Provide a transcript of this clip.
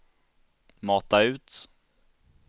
mata ut